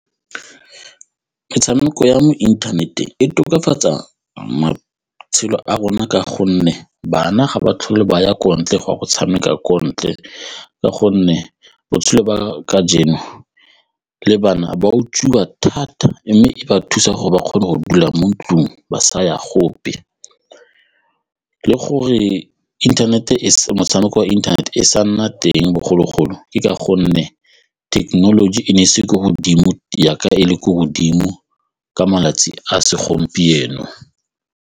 Metshameko ya mo inthaneteng e tokafatsa matshelo a rona ka gonne bana ga ba tlhole ba ya ko ntle, ga go tshameka kontle ka gonne botshelo ba ka jewa le bana ba utswiwa thata mme e ba thusa gore ba kgone go dula mo ntlong ba le gore internet-e motshameko e internet-e e sa nna teng bogologolo ke ka gonne thekenoloji e ne e ise ko godimo jaaka e le ko godimo ka malatsi a segompieno.